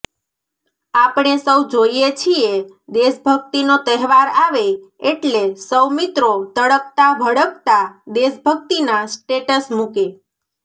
આપણે સૌ જોઈએ છીએ દેશભક્તિનો તહેવાર આવે એટ્લે સૌ મિત્રો તડકતા ભડકતા દેશભક્તિના સ્ટેટસ મૂકે